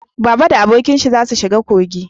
Baba da abokin shi za su shiga kogi